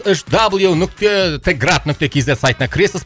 үш дабл ю нүкте т град нүкте кз сайтына кіресіз